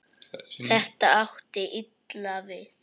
Þetta átti illa við